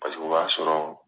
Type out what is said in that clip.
Paseke o b'a sɔrɔ